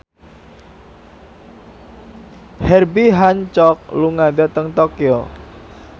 Herbie Hancock lunga dhateng Tokyo